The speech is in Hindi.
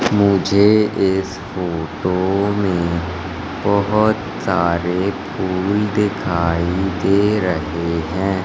मुझे इस फोटो में बहुत सारे फूल दिखाई दे रहे हैं।